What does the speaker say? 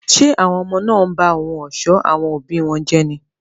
Ṣé àwọn ọmọ náà ń ba ohun ọ̀ṣọ́ àwọn òbí wọn jẹ́ ni?